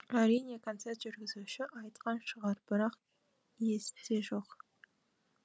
әрине концерт жүргізуші айтқан шығар бірақ есте жоқ